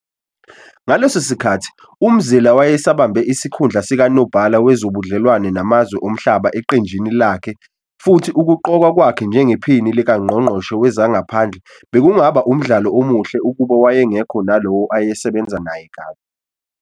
Ngaleso sikhathi uMzila wayesabambe isikhundla sikaNobhala Wezobudlelwano Namazwe Omhlaba eqenjini lakhe futhi ukuqokwa kwakhe njengePhini likaNgqongqoshe Wezangaphandle bekungaba umdlalo omuhle ukube wayengekho 'nalowo ayesebenza naye kabi'.